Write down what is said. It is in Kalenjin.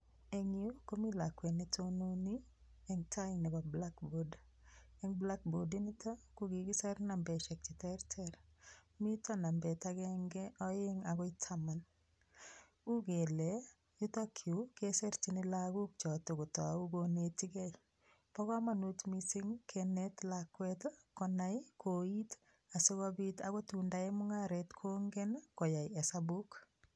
Eng yu komi lakwet ne tononi eng tai nebo blackboard, eng blackboard inito, ko kikiser nambesiek che terter, mito nambet akenge, aeng akoi taman, u kele yutokyu kesirchini lagok cho to kotou konetikei. Bo kamanut mising kenet lakwet ii konai koit ii asi kobit akot tun tayai mungaret kongen ii koyai hesabuk.